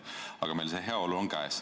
Aga meil on heaolu saavutatud.